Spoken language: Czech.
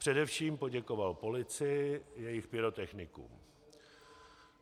Především poděkoval policii, jejich pyrotechnikům.